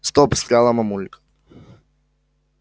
стоп встряла мамулька